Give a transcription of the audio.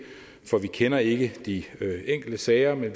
for vi kender ikke de enkelte sager men